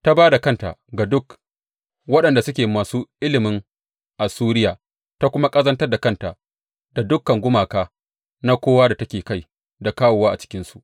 Ta ba da kanta ga duk waɗanda suke masu ilimin Assuriya ta kuma ƙazantar da kanta da dukan gumaka na kowa da take kai da kawowa a cikinsu.